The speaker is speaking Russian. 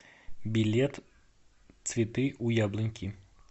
билет цветы у яблоньки